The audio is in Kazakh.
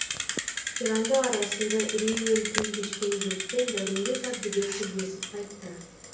қиранды арасында үреймен күн кешкен жұртпен дәуренбек әбдібек тілдесіп қайтты